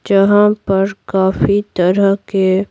जहां पर काफी तरह के--